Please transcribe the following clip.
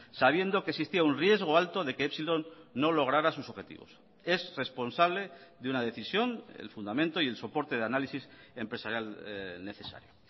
sabiendo que existía un riesgo alto de que epsilon no logrará sus objetivos es responsable de una decisión el fundamento y el soporte de análisis empresarial necesario